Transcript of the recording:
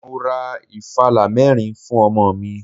Mo ra ìfàlá mẹ́rin fún ọmọ mi.